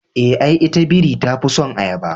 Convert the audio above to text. Eh, ai ita biri tafison ayaba